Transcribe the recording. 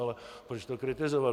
Ale proč to kritizovat?